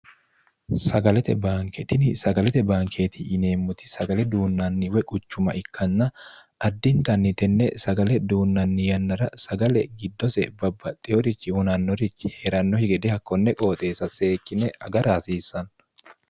sagalete baanke tini sagalete baankeeti yineemmoti sagale duunnanni quchuma ikkanna addintanni tenne sagale duunnanni yannara sagale giddose babbaxxinorichiu hunannorichi hee'rannohokki gede hakkonne qooxeessa seekkine agara hasiissanno